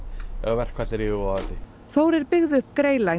að verkfall er yfirvofandi Þórir byggði upp